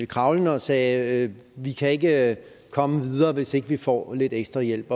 kravlende og sagde vi kan ikke komme videre hvis ikke vi får lidt ekstra hjælp